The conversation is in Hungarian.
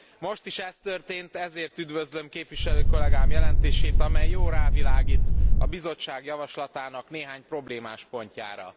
Most is ez történt, ezért üdvözlöm képviselő kollegám jelentését, amely jól rávilágít a Bizottság javaslatának néhány problémás pontjára.